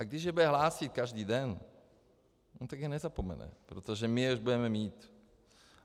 A když je bude hlásit každý den, tak je nezapomene, protože my je už budeme mít.